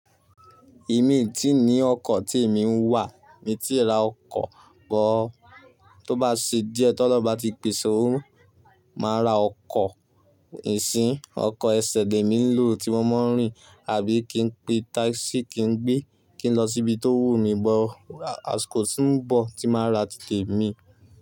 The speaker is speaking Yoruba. Èmi tíì ní ọkọ̀ tí èmi ń wà, mi tíì ra ọkọ̀ bọ̀. Tó bá ṣe díẹ̀ tó lọ bá ti pèsè o, máa ra ọkọ̀ ìsín, ọkọ̀ ẹsẹ̀ dé mi ń lò tí mo máa ń rìn àbí kí n pe táìsì kí n gbé kí n lọ síbi tó wù mí bọ̀, a kò tíì ń bọ̀ tí màá ra títè mi.